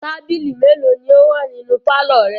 Tábìlì mélòó ni ó wà nínú pálọ̀ rẹ?